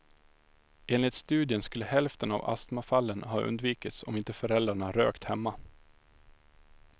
Enligt studien skulle hälften av astmafallen ha undvikits om inte föräldrarna rökt hemma.